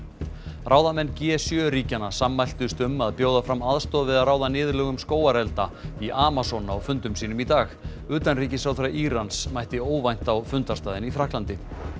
ráðamenn g sjö ríkjanna sammæltust um að bjóða fram aðstoð við að ráða niðurlögum skógarelda í Amazon á fundum sínum í dag utanríkisráðherra Írans mætti óvænt á fundarstaðinn í Frakklandi